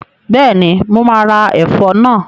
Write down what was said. Bẹ́ẹ̀ni, mo máa ro ẹ̀fọ́ náà.